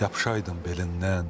Yapışaydım belindən.